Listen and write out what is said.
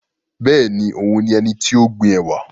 Bẹ́ẹ̀ni, òun ni ẹnití ó gbin ẹ̀wà